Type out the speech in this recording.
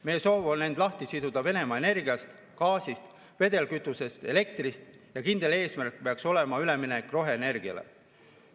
Meie soov on end lahti siduda Venemaa energiast – gaasist, vedelkütusest, elektrist – ja kindel eesmärk peaks olema üleminek roheenergiale.